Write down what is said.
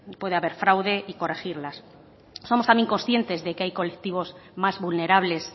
puede haber fraude y corregirlas somos también conscientes que hay colectivos más vulnerables